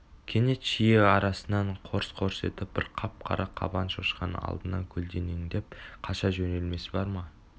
кенет шиі арасынан қорс-қорс етіп бір қап-қара қабан шошқаның алдынан көлденеңдеп қаша жөнелмесі бар ма